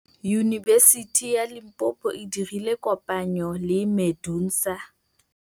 Yunibesiti ya Limpopo e dirile kopanyô le MEDUNSA.